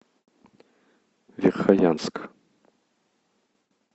верхоянск